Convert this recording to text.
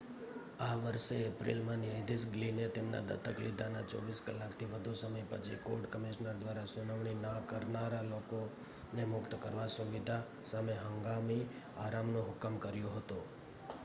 આ વર્ષે એપ્રિલમાં ન્યાયાધીશ ગ્લિને તેમના દત્તક લીધાના 24 કલાકથી વધુ સમય પછી કોર્ટ કમિશનર દ્વારા સુનાવણી ન કરનારા લોકોને મુક્ત કરવા સુવિધા સામે હંગામી આરામનો હુકમ કર્યો હતો